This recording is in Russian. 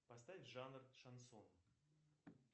поставь жанр шансон